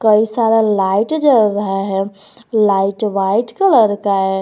कई सारा लाइट जल रहा है लाइट व्हाइट कलर का है।